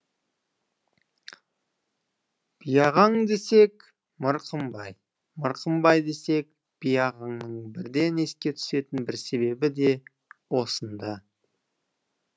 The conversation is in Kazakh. биағаң десек мырқымбай мырқымбай десек биағаңның бірден еске түсетін бір себебі де осында